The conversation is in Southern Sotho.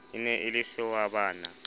e ne e le sehwabana